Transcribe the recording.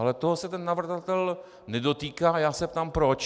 Ale toho se ten navrhovatel nedotýká a já se ptám proč.